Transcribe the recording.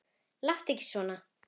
Láttu ekki svona